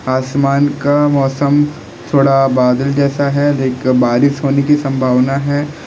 आसमान का मौसम थोड़ा बादल जैसा है देखकर बारिश होने की संभावना है।